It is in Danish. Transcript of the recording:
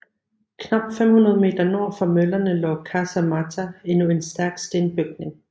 Knap 500 meter nord for møllerne lå Casa Mata endnu en stærk stenbygning